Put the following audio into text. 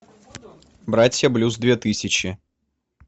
братья блюз две тысячи